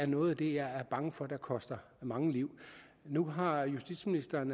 noget af det jeg er bange for koster mange liv nu har justitsministeren